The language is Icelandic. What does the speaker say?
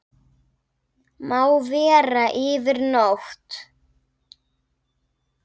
Má vera yfir nótt.